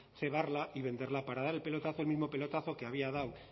cebarla y venderla para dar el pelotazo el mismo pelotazo que había dado